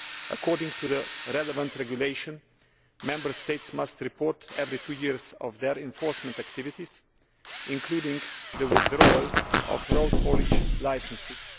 According to the relevant regulation, Member States must report every two years their enforcement activities, including the withdrawal of road haulage licences.